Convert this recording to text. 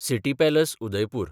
city palace (Udaipur)